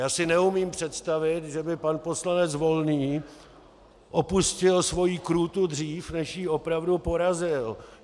Já si neumím představit, že by pan poslanec Volný opustil svoji krůtu dřív, než jí opravdu porazil.